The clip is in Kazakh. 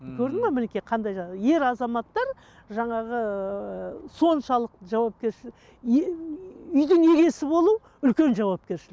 көрдің бе мінекей қандай жағдай ер азаматтар жаңағы ыыы соншалықты жауапкершілік үйдің иесі болу үлкен жауапкершілік